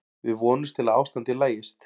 Við vonumst til að ástandið lagist.